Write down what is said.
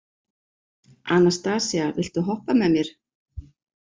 Anastasía, viltu hoppa með mér?